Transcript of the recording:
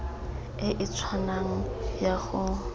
e e tshwanang ya go